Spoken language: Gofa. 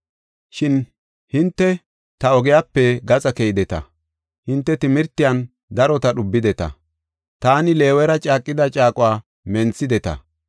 “Shin hinte ta ogiyape gaxa keydeta; hinte timirtiyan darota dhubideta; taani Leewera caaqida caaquwa menthideta.